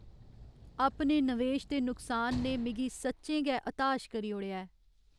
अपने नवेश दे नुकसान ने मिगी सच्चें गै हताश करी ओड़ेआ ऐ।